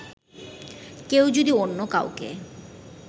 কেউ যদি অন্য কাউকে